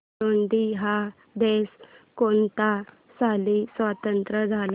Burundi हा देश कोणत्या साली स्वातंत्र्य झाला